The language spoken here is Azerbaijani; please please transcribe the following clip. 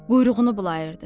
Quyruğunu bulayırdı.